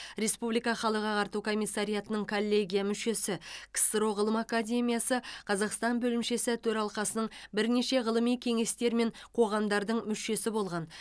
республика халық ағарту комиссариатының коллегия мүшесі ксро ғылым академиясы қазақстан бөлімшесі төралқасының бірнеше ғылыми кеңестер мен қоғамдардың мүшесі болған